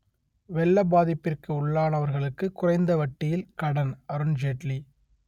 வெள்ள பாதிப்பிற்கு உள்ளானவர்களுக்கு குறைந்த வட்டியில் கடன் அருண் ஜேட்லி